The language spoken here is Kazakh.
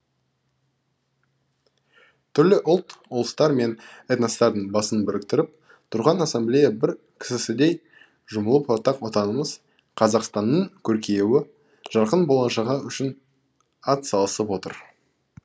түрлі ұлт ұлыстар мен этностардың басын біріктіріп тұрған ассамблея бір кісісідей жұмылып ортақ отанымыз қазақстанның көркеюі жарқын болашағы үшін ат салысып отыр